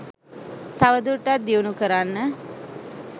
තවදුරටත් දියුණු කරන්න